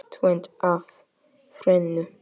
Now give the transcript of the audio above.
Tvennt af þrennu.